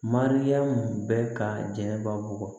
Mariyamu bɛɛ ka jɛn ka bɔ